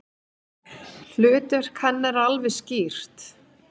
Hlutverk hennar er alveg skýrt.